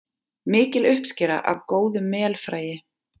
Mikil uppskera af góðu melfræi